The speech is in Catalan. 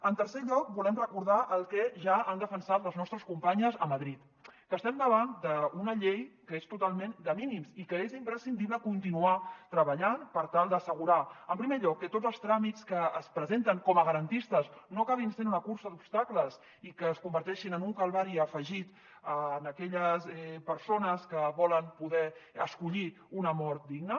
en tercer lloc volem recordar el que ja han defensat les nostres companyes a madrid que estem davant d’una llei que és totalment de mínims i que és imprescindible continuar treballant per tal d’assegurar en primer lloc que tots els tràmits que es presenten com a garantistes no acabin sent una cursa d’obstacles i que es converteixin en un calvari afegit a aquelles persones que volen poder escollir una mort digna